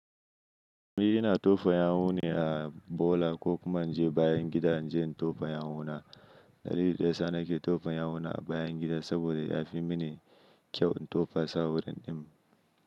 Ni ina tofa yawu ne a bola ko kuma in je bayan gida inje in tofa yawuna. Dalili daya sa nake tofa yawuna a bayan gida saboda ya fi mini kyau in tofa sa awurin din.